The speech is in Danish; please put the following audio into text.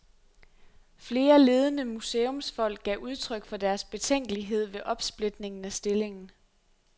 Flere ledende museumsfolk gav udtryk for deres betænkelighed ved opsplitningen af stillingen.